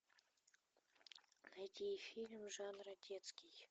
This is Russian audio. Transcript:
найди фильм жанра детский